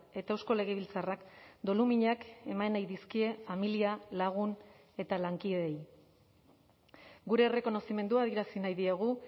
eta eusko legebiltzarrak doluminak eman nahi dizkie familia lagun eta lankideei gure errekonozimendua adierazi nahi diegu